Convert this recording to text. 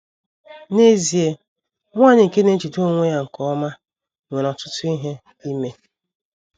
N’ezie, nwanyị nke na - ejide onwe ya nke ọma nwere ọtụtụ ihe ime.